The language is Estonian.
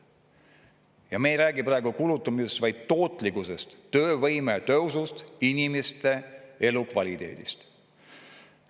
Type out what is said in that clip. Ja me ei räägi praegu kulutamisest, vaid tootlikkusest, töövõime tõusust, inimeste elukvaliteedist.